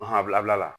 a bilabila la